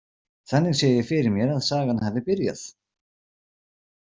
Þannig sé ég fyrir mér að sagan hafi byrjað.